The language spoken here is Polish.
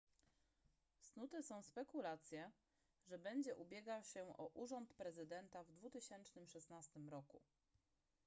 snute są spekulacje że będzie ubiegał się o urząd prezydenta w 2016 roku